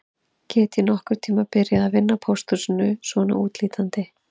Get ég nokkurn tíma byrjað að vinna á pósthúsinu svona útlítandi